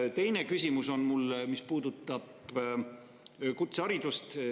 Mu teine küsimus puudutab kutseharidust.